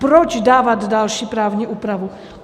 Proč dávat další právní úpravu?